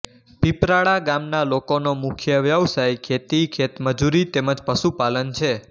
પીપરાળા ગામના લોકોનો મુખ્ય વ્યવસાય ખેતી ખેતમજૂરી તેમ જ પશુપાલન છે